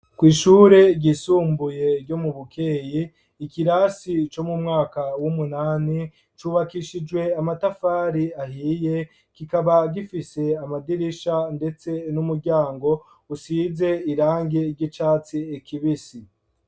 Kw'ishure ryisumbuye ryo mu bukeyi ikirasi cyo mu mwaka w'umunani cubakishijwe amatafari ahiye kikaba gifise amadirisha ndetse n'umuryango usize irangi ry'icatsi kibisi.